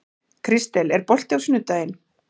Kristel, er bolti á sunnudaginn?